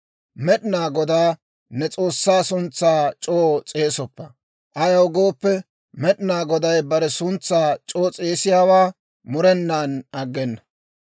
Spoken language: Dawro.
«Med'inaa Godaa ne s'oossaa suntsaa c'oo s'eesoppa; ayaw gooppe, Med'inaa Goday bare suntsaa c'oo s'eesiyaawaa murenan aggena.